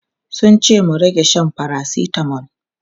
Sun ce mu rage shan paracetamol.